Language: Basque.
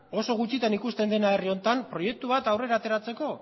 oso gutxitan ikusten dena herri honetan proiektu bat aurrera ateratzeko